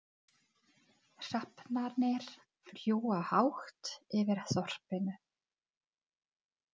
Hrafnarnir fljúga hátt yfir þorpinu.